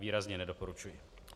Výrazně nedoporučuji.